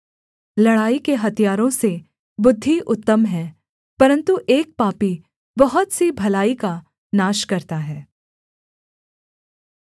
लड़ाई के हथियारों से बुद्धि उत्तम है परन्तु एक पापी बहुत सी भलाई का नाश करता है